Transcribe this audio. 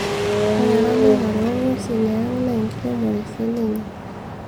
ore eramatare o nguesin e ang naa enkiremore sininye